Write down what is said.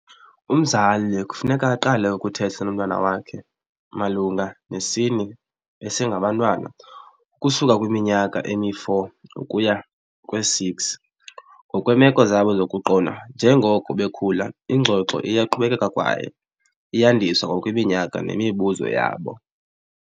Umzali kufuneka aqale ukuthetha nomntwana wakhe malunga nesini besengabantwana ukusuka kwiminyaka emiyi-four ukuya kwe-six, ngokweemeko zabo zokuqonda. Njengoko bekhula ingxoxo iyaqhubekeka kwaye iyandiswa ngokweminyaka nemibuzo yabo.